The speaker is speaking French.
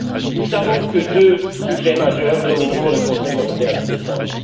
fond. Nous savons que deux sujets majeurs domineront le Conseil européen de décembre.